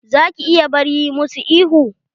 Za ki iya bar yi musu ihu?